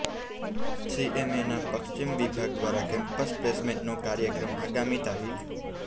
સીએમએના પશ્ચિમ વિભાગ દ્વારા કેમ્પસ પ્લેસમેન્ટનો કાર્યક્રમ આગામી તા